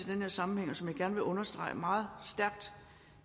her sammenhæng og som jeg gerne vil understrege meget stærkt